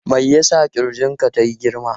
Me ya sa ƙirjin ka tayi girma?